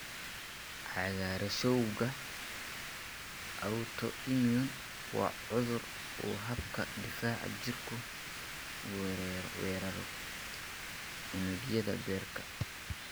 Cagaarshowga autoimmune waa cudur uu habka difaaca jirku weeraro unugyada beerka.